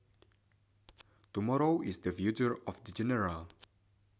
Tomorrow is the future in general